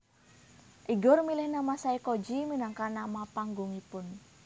Igor milih nama Saykoji minangka nama panggungipun